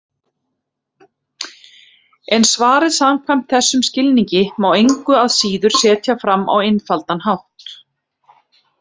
En svarið samkvæmt þessum skilningi má engu að síður setja fram á einfaldan hátt: